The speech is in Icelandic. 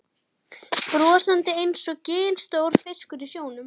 Brosandi einsog ginstór fiskur í sjónum.